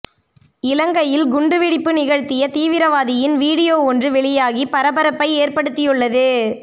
இலங்கையில் குண்டுவெடிப்பு நிகழ்த்திய தீவிரவாதியின் வீடியோ ஒன்று வெளியாகி பரபரப்பை ஏற்படுத்தியுள்ளது